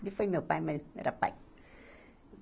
Ele foi meu pai, mas era pai.